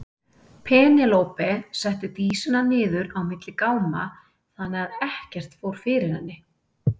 Penélope setti Dísina niður á milli gáma þannig að ekkert fór fyrir henni.